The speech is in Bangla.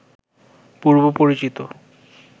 পূর্ব পরিচিত